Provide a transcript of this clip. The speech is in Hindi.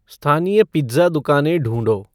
स्थानीय पिज़्ज़ा दुकानें ढूँढो